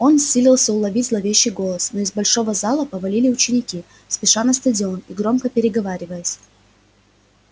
он силился уловить зловещий голос но из большого зала повалили ученики спеша на стадион и громко переговариваясь